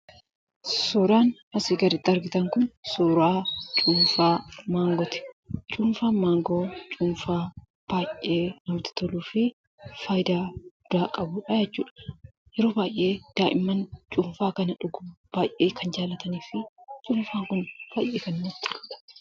Suuraan asii gaditti argitan kun suuraa cuunfaa maangooti. Cuunfaan maangoo cuunfaa baay'ee namatti toluu fi faayidaa guddaa qabudha jechuudha. Yeroo baay'ee daa'imman cuunfaa kana dhuguu baay'ee kan jaalatanii fi cuunfaa kun baay'ee gaariidha.